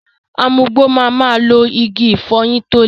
Amugbò ma ma lo Igi ìfọyín tó le.